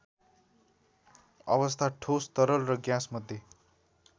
अवस्था ठोस तरल र ग्याँसमध्ये